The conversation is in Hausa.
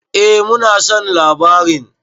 Eh mu na son labarin.